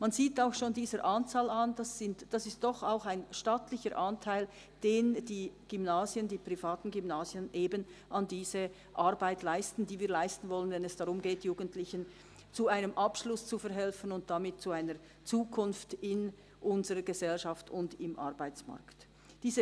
Man sieht auch schon an dieser Anzahl, dass es doch ein stattlicher Anteil ist, den die privaten Gymnasien an diese Arbeit leisten, und die wir leisten wollen, wenn es darum geht, Jugendlichen zu einem Abschluss und damit zu einer Zukunft in unserer Gesellschaft und im Arbeitsmarkt zu verhelfen.